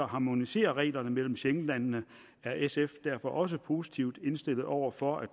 harmonisere reglerne mellem schengenlandene er sf derfor også positivt indstillet over for at